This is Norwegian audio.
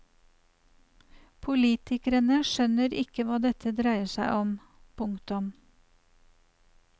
Politikerne skjønner ikke hva dette dreier seg om. punktum